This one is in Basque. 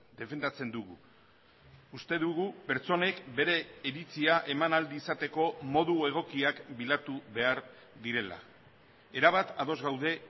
defendatzen dugu uste dugu pertsonek bere iritzia eman ahal izateko modu egokiak bilatu behar direla erabat ados gaude